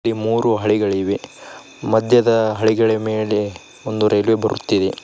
ಇಲ್ಲಿ ಮೂರು ಹಳಿಗಳಿವೆ ಮದ್ಯದ ಹಳಿಗಳಿ ಮೇಳೆ ಒಂದು ರೈಲ್ವೆ ಬರುತಿದೆ.